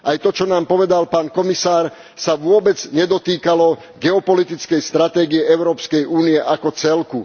Aj to, čo nám povedal pán komisár, sa vôbec nedotýkalo geopolitickej stratégie Európskej únie ako celku.